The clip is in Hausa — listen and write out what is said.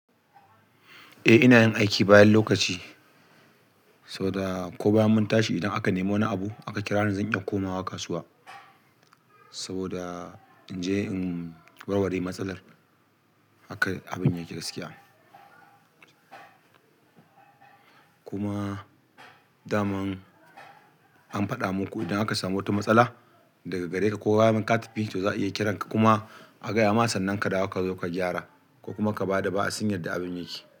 Eh ina yin aiki bayan lokaci saboda ko bayan mun tashi idan aka nemi wani abu aka kira ni zan iya komawa kasuwa saboda in je in warware matsalar haka abin yake gaskiya. Kuma da man an faɗa muku idan aka samu wata matsala daga gare ka ko daman kata fi to za a iya kiran ka kuma a gaya ma sannan kadawo ka zo ka gyara ko kuma ka bada ba'a sin yadda abin yake.